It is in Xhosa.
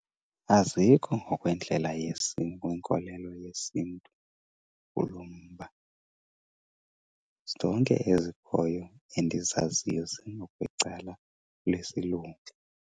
Azikho ngokwendlela , kwinkolelo yesiNtu kulo mba. Zonke ezikhoyo endizaziyo zingokwecala lesilungu.